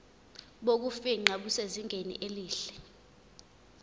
bokufingqa busezingeni elihle